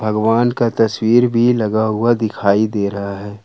भगवान का तस्वीर भी लगा हुआ दिखाई दे रहा है।